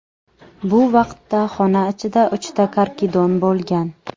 Bu vaqtda xona ichida uchta karkidon bo‘lgan.